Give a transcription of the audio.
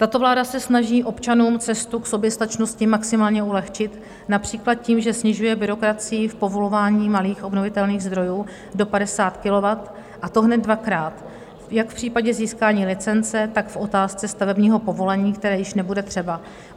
Tato vláda se snaží občanům cestu k soběstačnosti maximálně ulehčit například tím, že snižuje byrokracii v povolování malých obnovitelných zdrojů do 50 kW, a to hned dvakrát - jak v případě získání licence, tak v otázce stavebního povolení, které již nebude třeba.